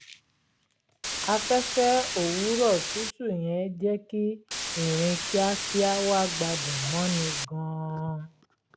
afẹ́fẹ́ òwúrọ̀ tutù yẹn jẹ́ kí ìrìn kíákíá wa gbádùn mọ́ni gan-an